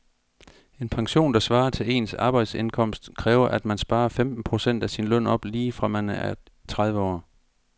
En pension, der svarer til ens arbejdsindkomst, kræver at man sparer femten procent af sin løn op lige fra man er tredive år.